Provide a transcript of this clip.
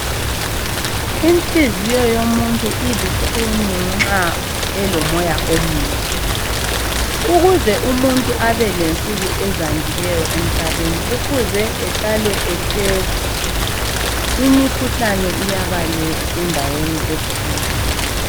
Inhliziyo yomuntu ilukhuni nxa elomoya omubi. Ukuze umuntu abelensuku ezandileyo emhlabeni kufuze ehlale ehlale ehleka, imikhuhlane iyabaleka endaweni ethile.